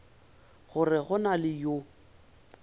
gore go na le yo